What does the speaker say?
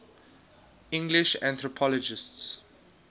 english anthropologists